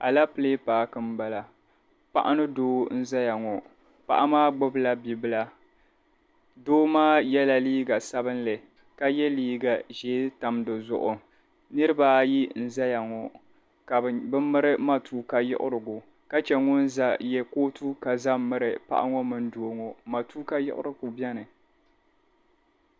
Alapile paaki m-bala. Paɣa ni doo n-zaya ŋɔ. Paɣa maa gbibila bibila. Doo maa yɛla liiga sabilinli ka ye liiga ʒee tam di zuɣu. Niriba ayi n-zaya ŋɔ ka bɛ miri matuuka yiɣirigu ka che ŋun ye kootu ka za m-miri paɣa ŋɔ mini doo ŋɔ. Matuuka yiɣirigu beni.